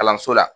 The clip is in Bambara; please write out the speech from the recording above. Kalanso la